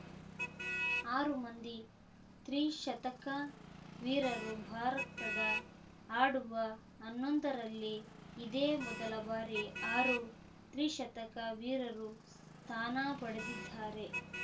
ಆರು ಮಂದಿ ತ್ರಿಶತಕ ವೀರರು ಭಾರತದ ಆಡುವ ಹನ್ನೊಂದರಲ್ಲಿ ಇದೇ ಮೊದಲ ಬಾರಿ ಆರು ತ್ರಿಶತಕ ವೀರರು ಸ್ಥಾನ ಪಡೆದಿದ್ದಾರೆ